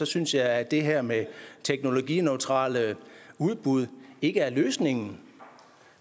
synes jeg at det her med teknologineutrale udbud ikke er løsningen